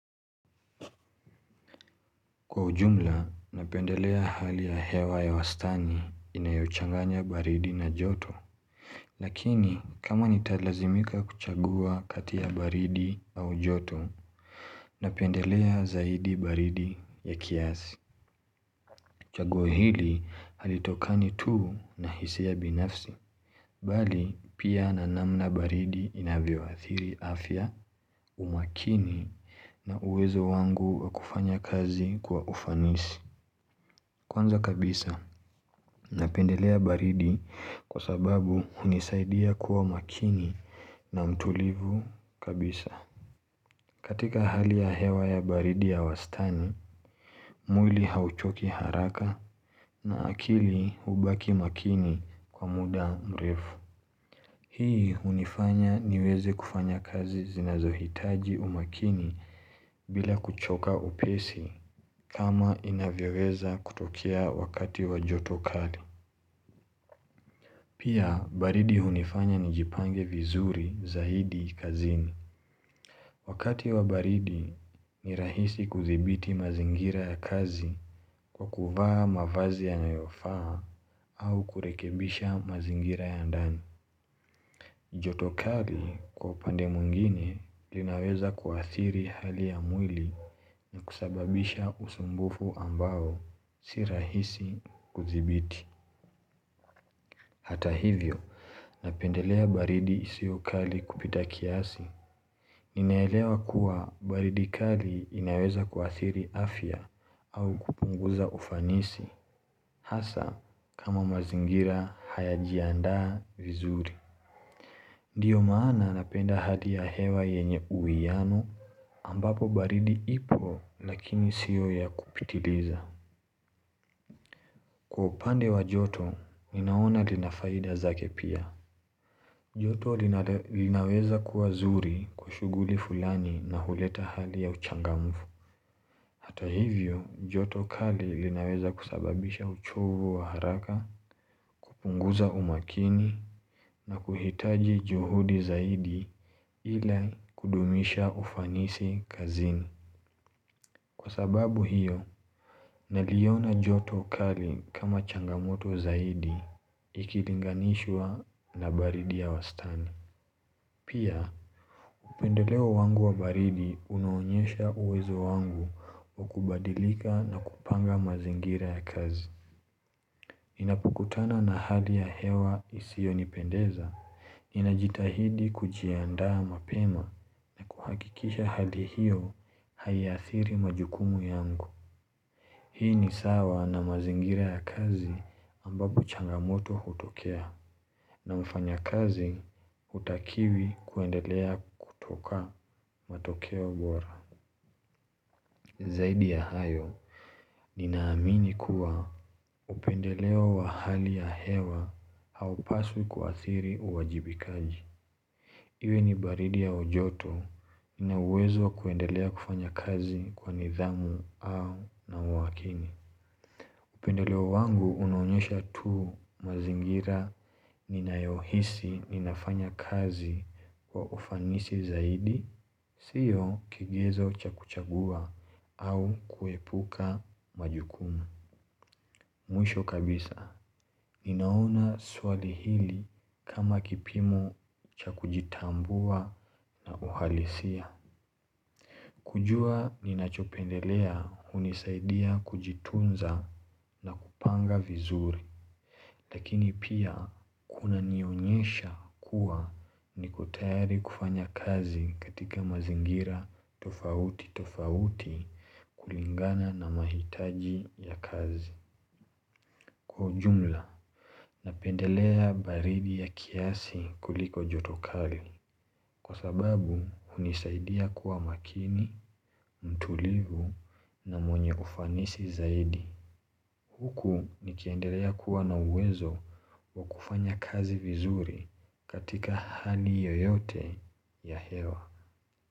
Kwa ujumla, napendelea hali ya hewa ya wastani inayochanganya baridi na joto Lakini, kama nitalazimika kuchagua kati ya baridi au joto, napendelea zaidi baridi ya kiasi chagua hili halitokani tu na hisia binafsi Bali, pia na namna baridi inavyoathiri afya umakini na uwezo wangu wakufanya kazi kwa ufanisi Kwanza kabisa Napendelea baridi kwa sababu unisaidia kuwa makini na mtulivu kabisa. Katika hali ya hewa ya baridi ya wastani, mwili hauchoki haraka na akili ubaki makini kwa muda mrefu. Hii unifanya niweze kufanya kazi zinazohitaji umakini bila kuchoka upesi kama inavyeweza kutokea wakati wajotokali. Pia, baridi hunifanya nijipange vizuri za hidi kazini. Wakati wa baridi ni rahisi kuthibiti mazingira ya kazi kwa kuvaa mavazi ya nayofaa au kurekebisha mazingira ya ndani. Jotokali kwa pandemungine linaweza kuathiri hali ya mwili na kusababisha usumbufu ambao si rahisi kuzibiti. Hata hivyo, napendelea baridi hisiyo kali kupita kiasi. Ninaelewa kuwa baridi kali inaweza kuadhiri afya au kupunguza ufanisi. Hasa, kama mazingira hayajajianda vizuri. Ndiyo maana napenda hadia hewa yenye uianu ambapo baridi ipo lakini sio ya kupitiliza. Kwa upande wa joto, ninaona linafaida zake pia. Joto linaweza kuwa zuri kushuguli fulani na huleta hali ya uchangamfu. Hato hivyo, joto kali linaweza kusababisha uchovu wa haraka, kupunguza umakini na kuhitaji juhudi zaidi ila kudumisha ufanisi kazini. Kwa sababu hiyo, naliona joto kali kama changamoto zaidi ikilinganishwa na baridi ya wastani. Pia, upendeleo wangu wa baridi unaonyesha uwezo wangu wa kubadilika na kupanga mazingira ya kazi. Inapukutana na hali ya hewa isiyo nipendeza, inajitahidi kujiandaa mapema kuhakikisha hali hiyo haiathiri majukumu yangu. Hii ni sawa na mazingira ya kazi ambapo changamoto hutokea na mfanya kazi hutakiwi kuendelea kutoka matokeo bora Zaidi ya hayo, ninaamini kuwa upendeleo wa hali ya hewa haupasu kuathiri uwajibikaji Iwe ni baridi ya ojoto inawezo kuendelea kufanya kazi kwa nithamu au na umakini upendeleo wangu unaonyesha tu mazingira ninayohisi ninafanya kazi kwa ufanisi zaidi, sio kigezo cha kuchagua au kuepuka majukumu. Mwisho kabisa, ninaona swali hili kama kipimo cha kujitambua uhalisia. Kujua ninachopendelea unisaidia kujitunza na kupanga vizuri, lakini pia kunanionyesha kuwa niko tayari kufanya kazi katika mazingira tofauti tofauti kulingana na mahitaji ya kazi. Kwa ujumla napendelea baridi ya kiasi kuliko joto kali Kwa sababu unisaidia kuwa makini, mtulivu na mwenye ufanisi zaidi Huku nikiendelea kuwa na uwezo wa kufanya kazi vizuri katika hali yoyote ya hewa.